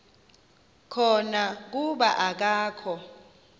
khona kuba akakho